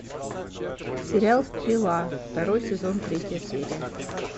сериал стрела второй сезон третья серия